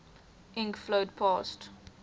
ink flowed past